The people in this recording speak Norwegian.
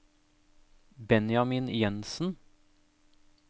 Benjamin Jensen